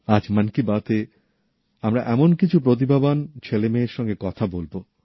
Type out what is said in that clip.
আজ মন কি বাতএ আমরা এমন কিছু প্রতিভাবান ছেলেমেয়ের সঙ্গে কথা বলবো